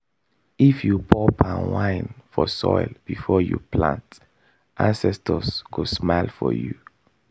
if you pour palm wine for soil before you plant ancestors go smile for you.